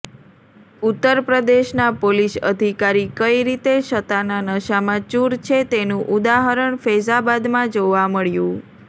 ઉત્તર પ્રદેશના પોલીસ અધિકારી કઈ રીતે સત્તાના નશામાં ચુર છે તેનું ઉદાહરણ ફેઝાબાદમાં જોવા મળ્યું